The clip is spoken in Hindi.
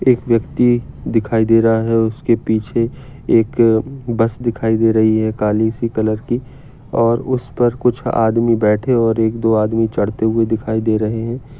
एक व्यक्ति दिखाई दे रहा है उसके पीछे एक अ बस दिखाई दे रही है काली सी कलर की और उस पर कुछ आदमी बैठे और एक दो आदमी चढ़ते हुए दिखाई दे रहे है।